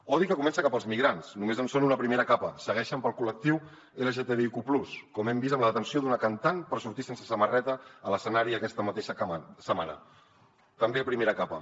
odi que comença cap als migrants només en són una primera capa segueixen pel col·lectiu lgtbiq+ com hem vist amb la detenció d’una cantant per sortir sense samarreta a l’escenari aquesta mateixa setmana també primera capa